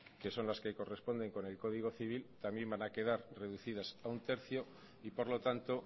que son las que corresponden con el código civil también van a quedar reducidas a uno barra tres y por lo tanto